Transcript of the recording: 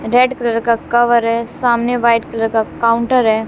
Red colour का cover है सामने व्हाइट कलर का काउंटर है।